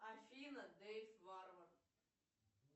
афина дэйв варвар